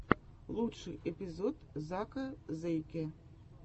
лучший эпизод зака зэйкэ